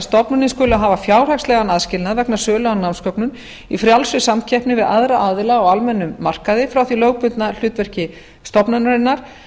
stofnanir skuli hafa fjárhagslegan aðskilnað vegna sölu á námsgögnum í frjálsri samkeppni við aðra aðila á almennum markaði frá því lögbundna hlutverki stofnunarinnar